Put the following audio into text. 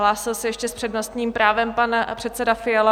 Hlásil se ještě s přednostním právem pan předseda Fiala?